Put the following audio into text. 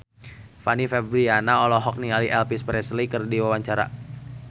Fanny Fabriana olohok ningali Elvis Presley keur diwawancara